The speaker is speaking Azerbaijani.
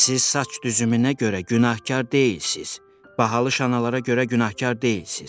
Siz saç düzümünə görə günahkar deyilsiz, bahalı şanlara görə günahkar deyilsiz.